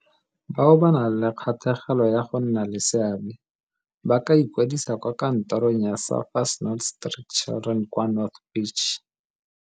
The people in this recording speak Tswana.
Bao ba nang le kgatlhegelo ya go nna le seabe [, ba ka ikwadisa kwa kantorong ya Surfers Not Street Children kwa North Beach.